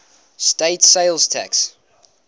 state sales tax